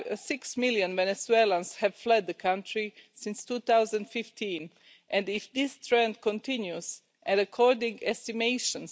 Six million Venezuelans have fled the country since 2015 and if this trend continues, and according to estimations,